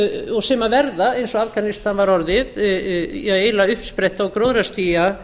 og sem verða eins og afganistan var orðið eiginlega uppspretta og gróðrarstía